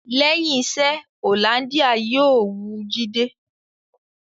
Lẹ́yìn iṣẹ́, Hollandia yóò wu Jídé